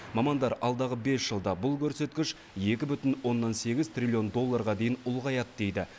мамандар алдағы бес жылда бұл көрсеткіш екі бүтін оннан сегіз трилллион долларға дейін ұлғаяды дейді